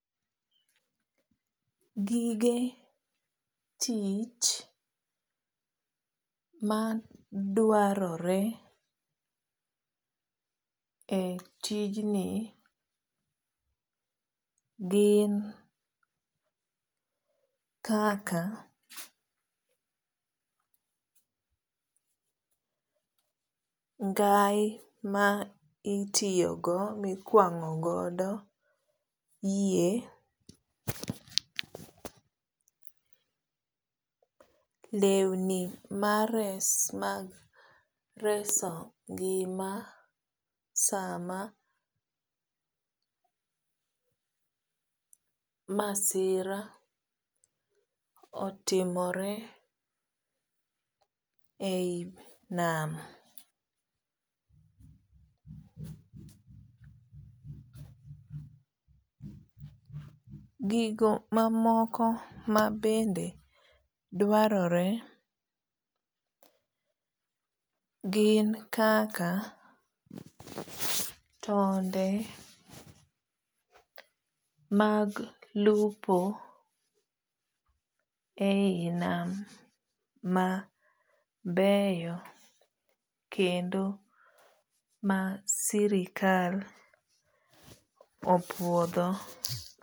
Gige tich ma dwarore e tijni gin kaka ngai ma itiyo go mikwang'ogodo yie, lewni mar res mag reso ngima sama masira otimore e yi nam. Gigo mamoko mabende dwarore gin kaka tonde mag lupo e yi nam mabeyo kendo ma sirikal opuodho.